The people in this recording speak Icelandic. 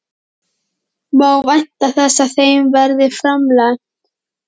Má vænta þess að þeim verði framlengt?